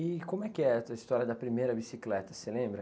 E como é que é a tua história da primeira bicicleta, você lembra?